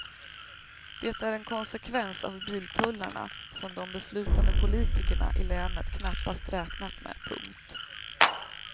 Det är en konsekvens av biltullarna som de beslutande politikerna i länet knappast räknat med. punkt